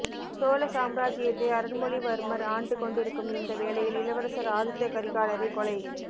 சோழ சாம்ராஜ்ஜியத்தை அருள்மொழிவர்மர் ஆண்டு கொண்டிருக்கும் இந்த வேலையில் இளவரசர் ஆதித்த கரிகாலரைக் கொலை